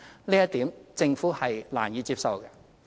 這一點政府是難以接受的。